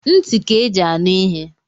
Ntị ka eji anụ ihe